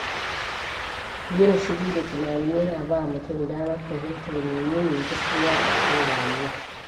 Yin shiru da tunani yana ba mutum damar fahimtar menene gaskiya a cikin rayuwa.